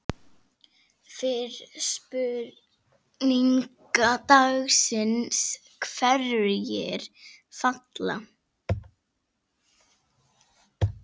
Fyrri spurning dagsins: Hverjir falla?